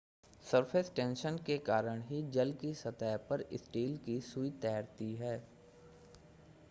surface tension के कारण ही जल की सतह पर स्टील की सूई तैरती है